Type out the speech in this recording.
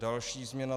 Další změna: